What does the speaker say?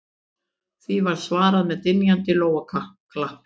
Því var svarað með dynjandi lófaklappi